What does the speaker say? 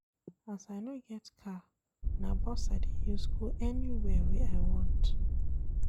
As I no get car, na bus I dey use go anywhere wey I want.